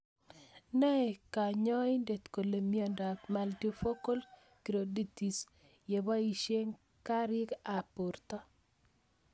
Nae kanyoindet kole miondop multifocal choroiditis ye poishe karik ab porto